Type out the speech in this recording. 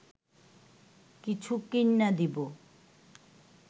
কিছু কিইন্যা দিব